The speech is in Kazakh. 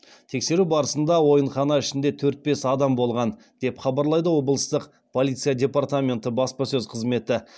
тексеру барысында ойынхана ішінде төрт бес адам болған деп хабарлайды облыстық полиция департаменті баспасөз қызметі